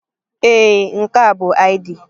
Ee, nke a bụ ID.